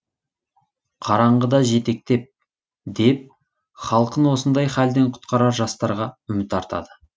қараңғыда жетектеп деп халқын осындай халден құтқарар жастарға үміт артады